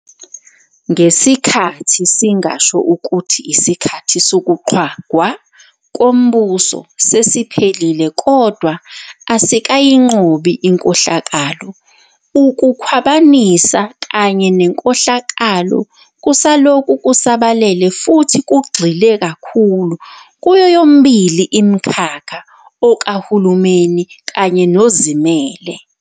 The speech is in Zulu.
Ngesikhathi singasho ukuthi isikhathi sokuqhwagwa kombuso sesiphelile, kodwa asikayinqobi inkohlakalo. Ukukhwabanisa kanye nenkohlakalo kusalokhu kusabalele futhi kugxile kakhulu kuyoyomibili imikhakha okahulumeni kanye nozimele.